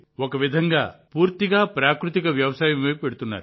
కాబట్టి మీరు ఒక విధంగా పూర్తిగా ప్రాకృతిక వ్యవసాయం వైపు వెళ్తున్నారు